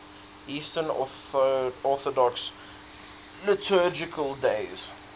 eastern orthodox liturgical days